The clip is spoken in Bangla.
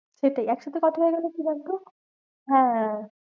সেটাই একসাথে কথা বলবো মানে কি বলতো? হ্যাঁ হ্যাঁ হ্যাঁ